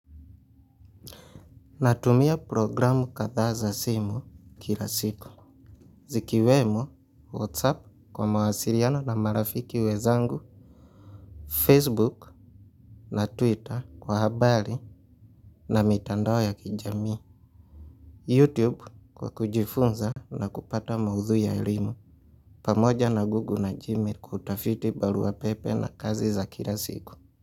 Natumia programu kadhaa za simu kila siku. Zikiwemo, Whatsapp kwa mawasiriano na marafiki wezangu, Facebook na Twitter kwa habari na mitandao ya kijamii. YouTube kwa kujifunza na kupata maudhui ya elimu. Pamoja na Google na Gmail kutafiti barua pepe na kazi za kila siku.